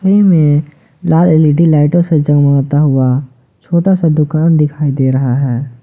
में लाल एल_ई_डी लाइटों से जगमगाता होता हुआ छोटा सा दुकान दिखाई दे रहा है।